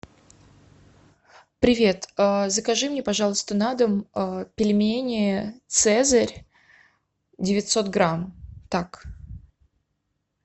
привет закажи мне пожалуйста на дом пельмени цезарь девятьсот грамм так